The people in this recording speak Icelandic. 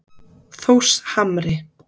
Þórshamri